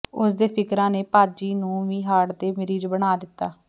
ਉਸ ਦੇ ਫਿਕਰਾਂ ਨੇ ਭਾਜੀ ਨੂੰ ਵੀ ਹਾਰਟ ਦੇ ਮਰੀਜ਼ ਬਣਾ ਦਿਤਾ